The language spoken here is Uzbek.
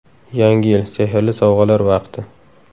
Yangi yil – sehrli sovg‘alar vaqti.